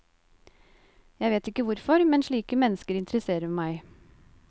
Jeg vet ikke hvorfor, men slike mennesker interesserer meg.